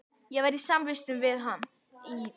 Ég var samvistum við hann í